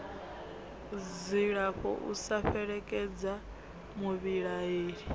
dzilafho u sa fhelekedza muvhilaheli